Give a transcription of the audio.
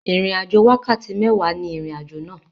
Ìrìn àjò wákàtí méwàá ní ìrìn àjò àná.